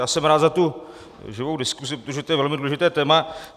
Já jsem rád za tu živou diskusi, protože to je velmi důležité téma.